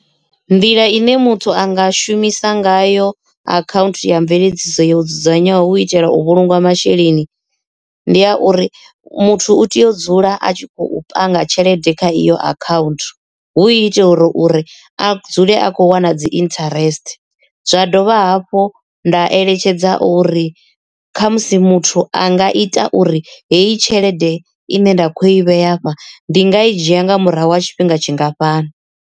Nḓila ine muthu anga shumisa ngayo akhaunthu ya mveledziso yo dzudzanywaho u itela u vhulunga masheleni ndi a uri muthu u tea u dzula a tshi khou panga tshelede kha iyo account hu itela uri uri a dzule a kho wana dzi interest. Zwa dovha hafhu nda eletshedza uri kha musi muthu a nga ita uri heyi tshelede ine nda kho i vhea hafha ndi nga i dzhia nga murahu ha tshifhinga tshingafhani.